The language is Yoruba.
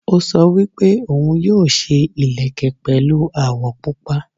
Ó sọ wípé òun yóò ṣe ìlẹ̀kẹ̀ pẹ̀lu àwọ̀ pupa